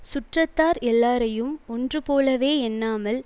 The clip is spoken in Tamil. சுற்றத்தார் எல்லாரையும் ஒன்று போலவே எண்ணாமல்